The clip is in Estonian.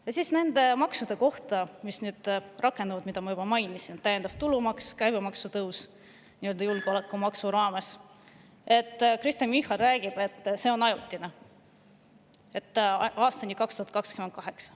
Nende maksu kohta, mis nüüd rakenduvad ja mida ma juba mainisin, nagu täiendav tulumaks ja käibemaksutõus nii-öelda julgeolekumaksu raames, räägib Kristen Michal, et need on ajutised, aastani 2028.